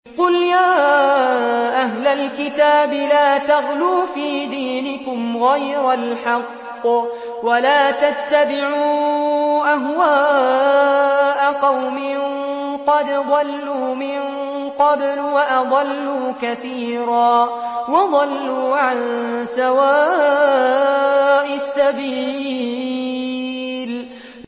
قُلْ يَا أَهْلَ الْكِتَابِ لَا تَغْلُوا فِي دِينِكُمْ غَيْرَ الْحَقِّ وَلَا تَتَّبِعُوا أَهْوَاءَ قَوْمٍ قَدْ ضَلُّوا مِن قَبْلُ وَأَضَلُّوا كَثِيرًا وَضَلُّوا عَن سَوَاءِ السَّبِيلِ